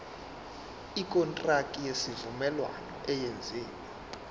ikontraki yesivumelwano eyenziwe